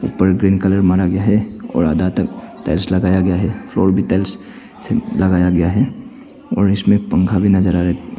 उपर green colour मारा गया है और आधा तक टाइल्स लगाया गया है फ्लोर भी टाइल्स से लगाया गया है और इसमें पंखा भी नजर आ रहे।